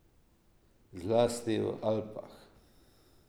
Zlasti v Alpah.